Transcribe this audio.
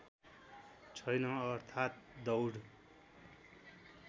छैन अर्थात् दौड